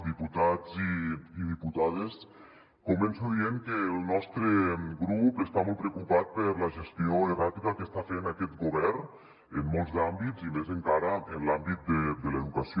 diputats i diputades començo dient que el nostre grup està molt preocupat per la gestió erràtica que està fent aquest govern en molts àmbits i més encara en l’àmbit de l’educació